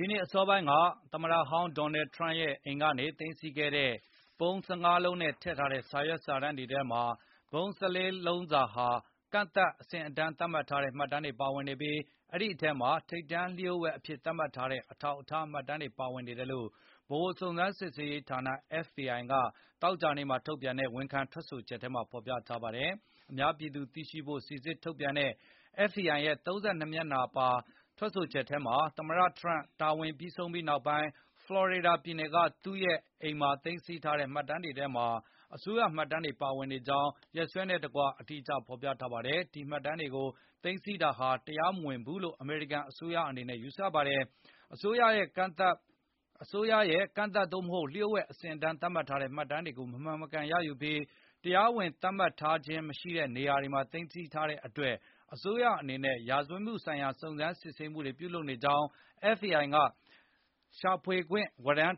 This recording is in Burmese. ီနှစ်အစောပိုင်းက သမတဟောင်း ဒေါ်နယ်ထရန့်ရဲ့ အိမ်ကနေ သိမ်းဆီးခဲ့တဲ့ ပုံး ၁၅ လုံးနဲ့ ထည့်ထားတဲ့ စာရွက်စာတမ်း တွေထဲမှာ ပုံး ၁၄ လုံးစာဟာ ကန့်သတ်အဆင့်အတန်း သတ်မှတ်ထားတဲ့ မှတ်တမ်းတွေပါဝင်နေပြီး၊ အဲဒီအထဲမှာ ထိပ်တန်းလျို့ဝှက်အဖြစ်သတ်မှတ်ထားတဲ့ အထောက်အထား မှတ်တမ်းတွေပါဝင်နေတယ်လို့ ဗဟိုစုံစမ်းစစ်ဆေးရေးဌာန FBI ကသောကြာနေ့မှာ ထုတ်ပြန်တဲ့ ဝန်ခံထွက်ဆိုချက်ထဲမှာဖေါ်ပြထားပါတယ်။ အများပြည်သူ သိရှိနိုင်ဖို့ စီစစ်ထုတ်ပြန်ထားတဲ့ FBI ရဲ့ ၃၂ နှစ်မျက်နှာပါ ထွက်ဆိုချက်ထဲမှာ၊ သမ္မတ ဒေါ်နယ်ထရန့် တာဝန်ပြီး ဆုံးသွားပြီးနောက် ဖလော်ရီဒါပြည်နယ်က သူ့ရဲ့ Mar-a-Lago မှာသိမ်းဆည်းထားတဲ့ မှတ်တမ်းတွေထဲမှာ အစိုးရမှတ်တမ်းတွေပါဝင်နေကြောင်း၊ ရက်စွဲနဲ့ တကွအသေးစိတ်ဖေါ်ပြထားပါတယ်။ ဒီမှတ်တမ်းတွေကို သိမ်းဆည်းထားတာဟာ တရားမဝင်ဘူးလို့ အမေရိကန်အစိုးရ အနေနဲ့ ယူဆပါတယ်။ အစိုးရရဲ့ ကန့်သတ် သို့မဟုတ် လျို့ဝှက်အဆင့်အတန်း သတ်မှတ်ထားတဲ့ မှတ်တမ်းတွေကို မမှန်မကန်ရယူပြီး၊ တရားဝင် သတ်မှတ်ထားတာ မဟုတ်တဲ့နေရာမှာ သိမ်းဆည်းထားတဲ့အတွက် အစိုးရအနေနဲ့ ရာဇဝတ်မှုဆိုင်ရာ စုံစမ်းစစ်ဆေးမှုတွေ ပြုလုပ်နေကြောင်း FBI က ရှာဖွေခွင့် ဝရန်း